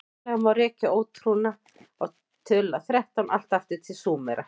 hugsanlega má rekja ótrúna á töluna þrettán allt aftur til súmera